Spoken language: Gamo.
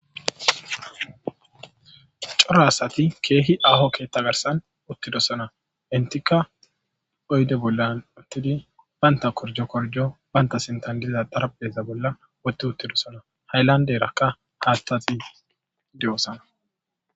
Coro asathi keehi aaho keththa garssan uththidosana; enththikka oyde bollan uththidi banththa korjo korjo banththa sinththan diza xarapheeza bolla woththi uththidosana; haylandeerakka haaththathi de7oosana.